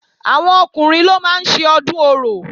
Àwọn Ọkùnrin ló máa ń ṣe Ọdún Orò